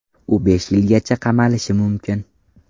U besh yilgacha qamalishi mumkin.